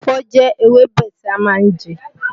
Ẹ̀fọ́ jẹ́ ewébẹ̀ tí a má ń je